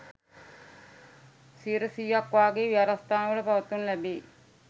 සියයට, සීයක් වාගේ විහාරස්ථානවල පවත්වනු ලැබේ.